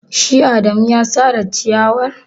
Shi adamu ya sare ciyawar.